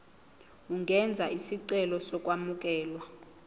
ungenza isicelo sokwamukelwa